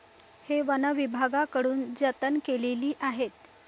हे वनविभागाकडून जतन केलेली आहेत.